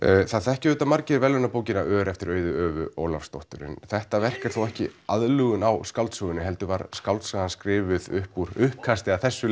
það þekkja auðvitað margir ör eftir Auði Ólafsdóttur en þetta verk er þó ekki aðlögun á skáldsögunni heldur var skáldsagan skrifuð upp úr uppkasti af þessu